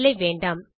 இல்லை வேண்டாம்